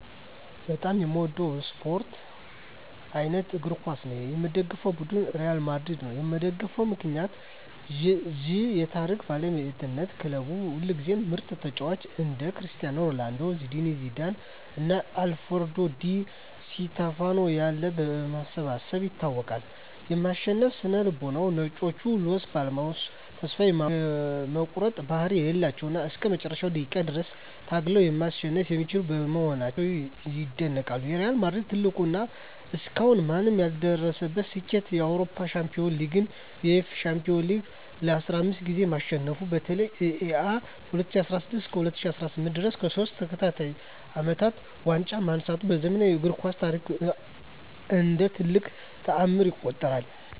በጣም የምወደው የስፓርት አይነት እግር ኳስ ነው። የምደግፈው ቡድን ሪያል ማድሪድ ነው። የምደግፍበት ምክንያት ዠ የታሪክ ባለቤትነት ክለቡ ሁልጊዜም ምርጥ ተጫዋቾችን (እንደ ክርስቲያኖ ሮናልዶ፣ ዚነዲን ዚዳን እና አልፍሬዶ ዲ ስቲፋኖ ያሉ) በማሰባሰብ ይታወቃል። የማሸነፍ ስነ-ልቦና "ነጮቹ" (Los Blancos) ተስፋ የመቁረጥ ባህሪ የሌላቸው እና እስከ መጨረሻው ደቂቃ ድረስ ታግለው ማሸነፍ የሚችሉ በመሆናቸው ይደነቃሉ። የሪያል ማድሪድ ትልቁ እና እስካሁን ማንም ያልደረሰበት ስኬት የአውሮፓ ሻምፒዮንስ ሊግን (UEFA Champions League) ለ15 ጊዜያት ማሸነፉ ነው። በተለይም እ.ኤ.አ. ከ2016 እስከ 2018 ድረስ ለሶስት ተከታታይ አመታት ዋንጫውን ማንሳቱ በዘመናዊው እግር ኳስ ታሪክ እንደ ትልቅ ተአምር ይቆጠራል።